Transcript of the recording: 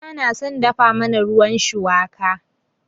Uwata na son dafa mana ruwan shuwaka.